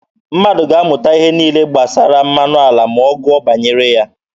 Mmadụ ga-amụta ihe niile gbasara mmanụ ala ma ọ gụọ banyere ha.